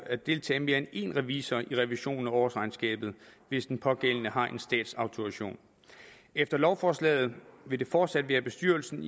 at deltage mere end en revisor i revisionen af årsregnskabet hvis den pågældende har en statsautorisation efter lovforslaget vil det fortsat være bestyrelsen